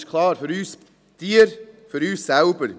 das ist klar: für unsere Tiere, für uns selber.